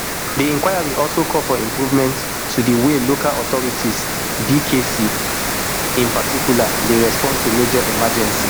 di inquiry also call for improvements to di way local authorities rbkc in particular dey respond to major emergencies